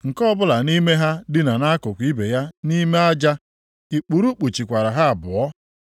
Nke ọbụla nʼime ha dina nʼakụkụ ibe ya nʼime aja, ikpuru kpuchikwara ha abụọ.